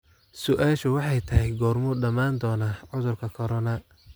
su'aashu waxay tahay goormuu dhamaan doonaa cudurkan corona?